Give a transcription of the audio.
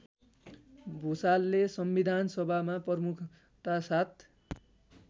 भुषालले संबिधानसभामा प्रमुखतासाथ